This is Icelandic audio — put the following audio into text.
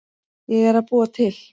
Ég er að búa til.